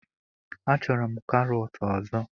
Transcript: Achọrọ m karọt ọzọ